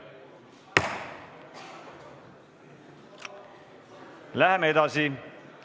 Läheme edasi.